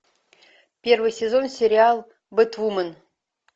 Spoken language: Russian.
первый сезон сериал бэтвумен